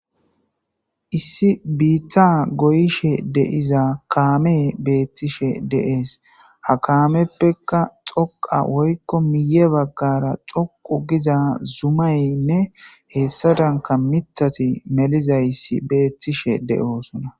Issi biitha goyishe deiza kaame beettishe deees ha kaameppeka xoqa woykko miye baggara coqu giza zumaynne hessa danka mithati melizayssi beettishe de7oosona.